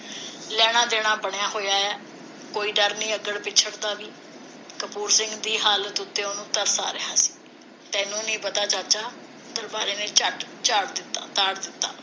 ਲੈਣਾ ਦੇਣਾ ਬਣਿਆ ਹੋਇਆ ਹੈ ਕੋਈ ਡਰ ਨਹੀ ਅੱਗੜ ਪਿੱਛੜ ਦਾ ਵੀ ਕਪੂਰ ਸਿੰਘ ਦੀ ਹਾਲਤ ਉਤੇ ਉਸਨੂੰ ਤਰਸ ਆ ਰਿਹਾ ਸੀ ਤੈਨੂੰ ਨੀ ਪਤਾ ਚਾਚਾ ਦਰਬਾਰੇ ਨੇ ਝੱਟ ਝਾੜ ਤਾੜ ਦਿੱਤਾ